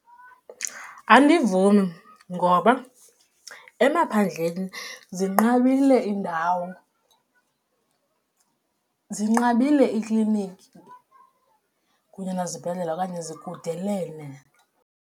Andivumi, ngoba emaphandleni zinqabile iindawo, zinqabile iikliniki kunye nezibhedlela okanye zikudelene.